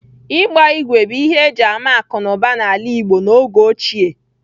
Ịgba ígwè bụ ihe e ji ama akụ̀ na ụba n'ala Igbo n'oge ochie.